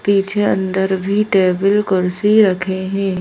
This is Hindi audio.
पीछे अंदर भी टेबल कुर्सी रखे हैं।